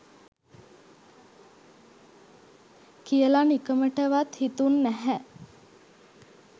කියල නිකමටවත් හිතුන්නැහැ